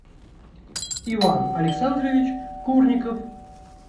иван александрович курников